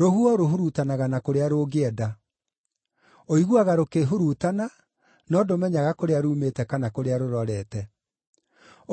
Rũhuho rũhurutanaga na kũrĩa rũngĩenda. Ũiguaga rũkĩhurutana, no ndũmenyaga kũrĩa rumĩte kana kũrĩa rũrorete.